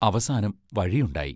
അവസാനം വഴിയുണ്ടായി.